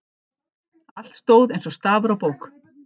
Allt stóð eins og stafur á bók.